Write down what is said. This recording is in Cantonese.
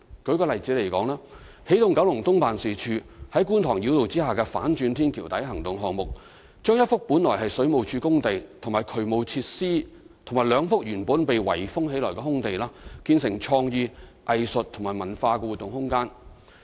舉例而言，起動九龍東辦事處在觀塘繞道下的"反轉天橋底行動"項目，將一幅原是水務署工地及渠務設施和兩幅原是被圍封的空地建成創意、藝術及文化活動空間。